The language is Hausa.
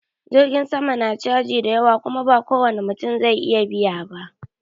Jirgin sama na caji da yawa Kuma ba kowani mutum zai iya biya ba.